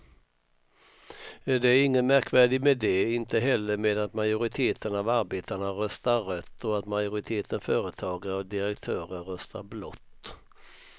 Det är inget märkvärdigt med det, inte heller med att majoriteten av arbetarna röstar rött och att majoriteten företagare och direktörer röstar blått.